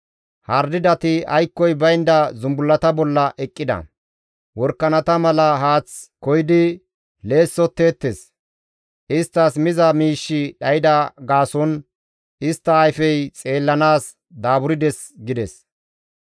Hardidati aykkoy baynda zumbullata bolla eqqida; worakanata mala haath koyidi leessotteettes. Isttas miza miishshi dhayda gaason istta ayfey xeellanaas daaburdes» gides.